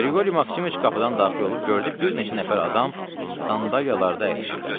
Qriqoriy Maksimoviç qapıdan daxil olub gördü bir neçə nəfər adam sandalyalarda əyləşiblər.